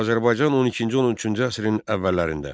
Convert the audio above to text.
Azərbaycan 12-ci 13-cü əsrin əvvəllərində.